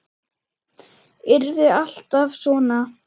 Yrði alltaf svona.